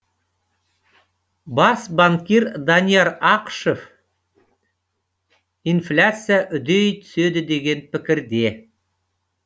бас банкир данияр ақышев инфляция үдей түседі деген пікірде